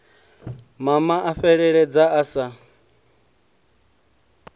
mama a fheleledza a sa